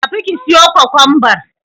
Tafi ka siyo Kwakwanbar.